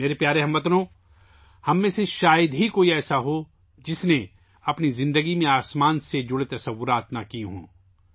میرے پیارے ہم وطنو، ہم میں سے شاید ہی کوئی ایسا ہو جس نے اپنی زندگی میں آسمان سے متعلق تصورات نہ کی ہوں